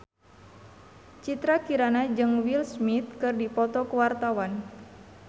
Citra Kirana jeung Will Smith keur dipoto ku wartawan